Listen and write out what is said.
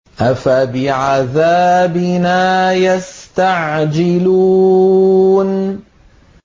أَفَبِعَذَابِنَا يَسْتَعْجِلُونَ